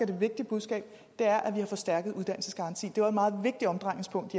det vigtige budskab er at vi har forstærket uddannelsesgarantien det var et meget vigtigt omdrejningspunkt